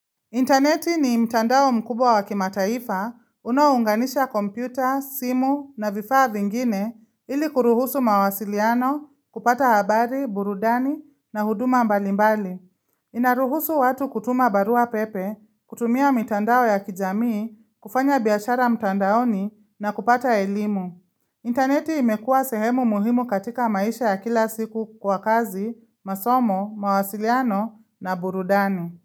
Interneti ni mtandao mkubwa wa kimataifa unaounganisha kompyuta, simu na vifaa vingine ili kuruhusu mawasiliano, kupata habari, burudani na huduma mbalimbali. Inaruhusu watu kutuma barua pepe, kutumia mitandao ya kijamii, kufanya biashara mtandaoni na kupata elimu. Interneti imekua sehemu muhimu katika maisha ya kila siku kwa kazi, masomo, mawasiliano na burudani.